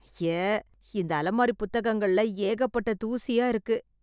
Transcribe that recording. ஐய.... இந்த அலமாரி புத்தகங்கள்ள ஏகப்பட்ட தூசியா இருக்கு....